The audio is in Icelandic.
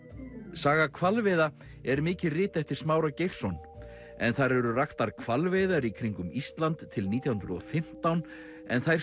saga hvalveiða er mikið rit eftir Smára Geirsson en þar eru raktar hvalveiðar í kringum Ísland til nítján hundruð og fimmtán en þær